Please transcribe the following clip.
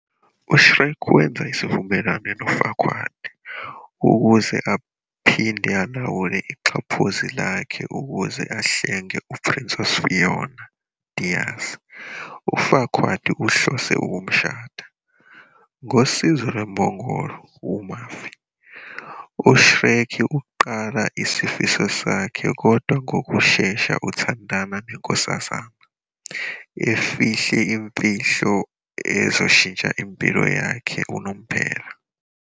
UShrek wenza isivumelwano noFarquaad ukuze aphinde alawule ixhaphozi lakhe ukuze ahlenge uPrincess Fiona, Diaz, uFarquaad ahlose ukumshada. Ngosizo lwembongolo, u-Murphy, u-Shrek uqala isifiso sakhe kodwa ngokushesha uthandana nenkosazana, efihla imfihlo ezoshintsha impilo yakhe unomphela.